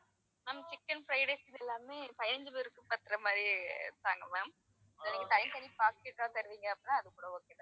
ma'am chicken fried rice இது எல்லாமே பதினஞ்சு பேருக்கு பாக்குறமாரி தாங்க ma'am இல்ல நீங்க tie பண்ணி pocket ஆ தருவீங்க அப்படின்னா அதுகூட okay தான்